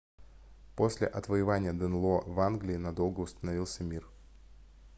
после отвоевания денло в англии надолго установился мир